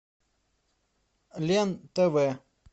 лен тв